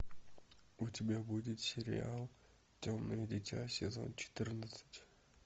у тебя будет сериал темное дитя сезон четырнадцать